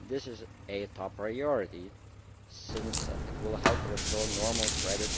This is a top priority, since it will help restore normal credit